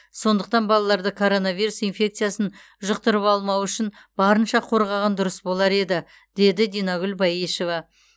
сондықтан балаларды коронавирус инфекциясын жұқтырып алмауы үшін барынша қорғаған дұрыс болар еді деді динагүл баешева